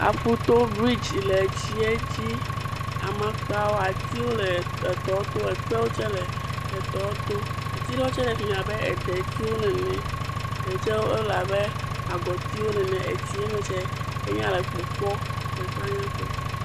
Aƒu to brigde le edzi, amakpa, ekpewo tse le etɔ to, atiwo le tɔ to, ati ɖewo tse le fi mi abe detiwo eɖe tse le abe agɔtiwo nene.